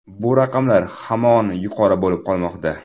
Bu raqamlar hamon yuqori bo‘lib qolmoqda.